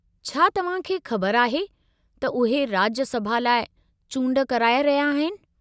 छा तव्हां खे ख़बर आहे त उहे राज्यसभा लाइ चूंड कराइ रहिया आहिनि?